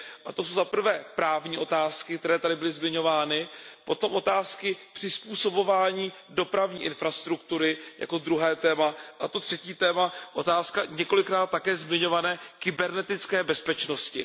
To jsou za prvé právní otázky, které tady byly zmiňovány, potom otázky přizpůsobování dopravní infrastruktury jako druhé téma a to třetí téma, to je otázka několikrát také zmiňované kybernetické bezpečnosti.